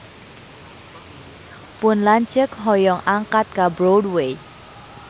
Pun lanceuk hoyong angkat ka Broadway